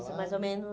mais ou menos.